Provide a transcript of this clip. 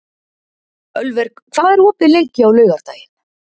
Ölver, hvað er opið lengi á laugardaginn?